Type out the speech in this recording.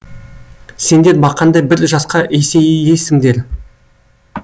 сендер бақандай бір жасқа есейесіңдер